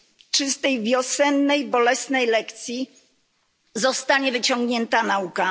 Czy z tej wiosennej bolesnej lekcji zostanie wyciągnięta nauka?